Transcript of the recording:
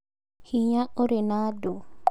Hinya ũrĩ na andũ